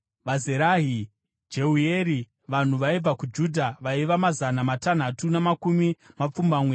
VaZerahi: Jeueri. Vanhu vaibva kuJudha vaiva mazana matanhatu namakumi mapfumbamwe.